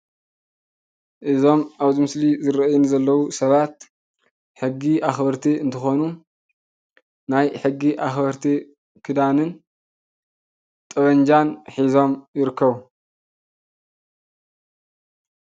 እዞም ኣብዚ ምስሊ ዝረኣዩኒ ዘለው ሰባት ሕጊ ኣክበርቲ እንትኮኑ ናይ ሕጊ ኣክበርቲ ክዳንን ጠበንጃን ሒዞም ይርከቡ።